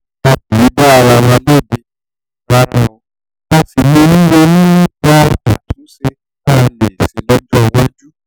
a kì í dá ara wa lẹ́bi a sì máa ń ronú nípa àtúnṣe tá a lè ṣe lọ́jọ́ iwájú